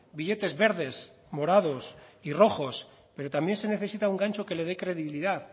billetes verdes morados y rojos pero también se necesita un gancho que le dé credibilidad